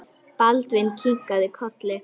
Baldvin kinkaði kolli.